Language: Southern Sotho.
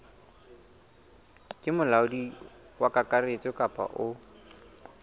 ke molaodi kakaretso kapa o